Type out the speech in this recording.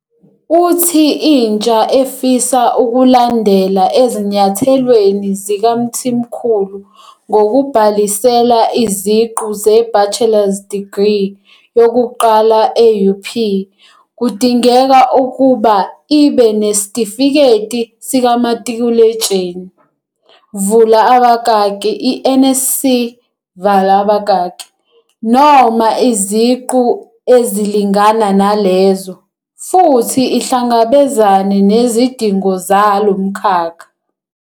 Uthi intsha efisa ukulandela ezinyathelweni zikaMthimkhulu ngokubhalisela iziqu zebachelor's degree yokuqala e-UP kudingeka ukuba ibe neSitifiketi sikaMatikuletsheni, vula abakaki, i-NSC, vala abakaki, noma iziqu ezilingana nalezo, futhi ihlangabezane nezidingo zalo mkhakha.